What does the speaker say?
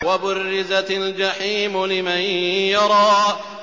وَبُرِّزَتِ الْجَحِيمُ لِمَن يَرَىٰ